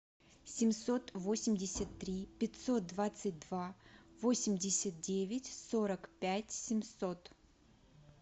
семьсот восемьдесят три пятьсот двадцать два восемьдесят девять сорок пять семьсот